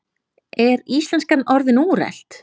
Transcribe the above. Er íslenskan orðin úrelt?